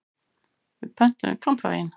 Við pöntuðum kampavín.